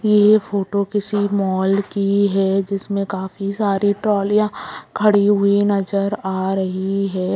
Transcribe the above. यह फोटो किसी मॉल की है जिसमें काफी सारे ट्रोलियाँ खड़ी हुई नजर आ रही है।